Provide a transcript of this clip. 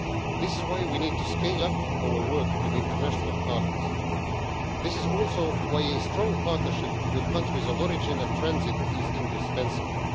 This is why we need to scale up our work with international partners. This is also why a strong partnership with countries of origin and transit is indispensable.